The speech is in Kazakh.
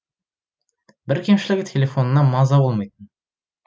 бір кемшілігі телефонына маза болмайтын